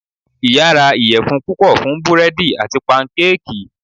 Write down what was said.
Iya ra iyẹfun pupọ fun búredì ati pankéèkí